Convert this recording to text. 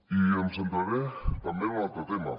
i em centraré també en un altre tema